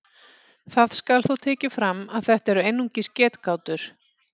Það skal þó tekið fram að þetta eru einungis getgátur.